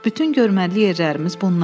Bütün görməli yerlərimiz bunlardır.